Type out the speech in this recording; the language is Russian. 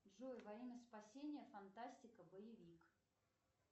джой во имя спасения фантастика боевик